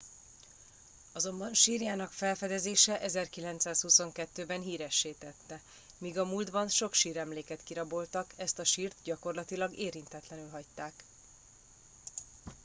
azonban sírjának felfedezése 1922 ben híressé tette míg a múltban sok síremléket kiraboltak ezt a sírt gyakorlatilag érintetlenül hagyták